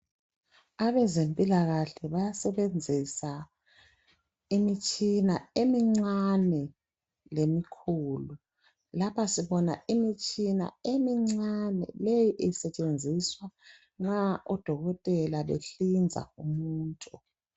Abezempilakahle bayasebenzisa imitshina emincane lemikhulu. Lapha sibona imitshina emincane, leyi isetshenziswa nxa odokotela behlinza umuntu.